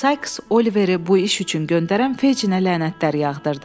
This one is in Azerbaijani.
Sais Oliveri bu iş üçün göndərən Fejinə lənətlər yağdırdı.